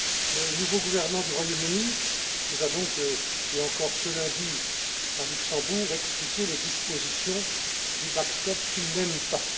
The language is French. Le nouveau gouvernement du Royaume Uni nous a donc, et encore ce lundi à Luxembourg, expliqué les dispositions du backstop qu'il n'aime pas.